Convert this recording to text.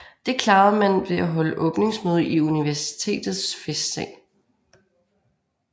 Det klarede man ved at holde åbningsmøde i universitetets festsal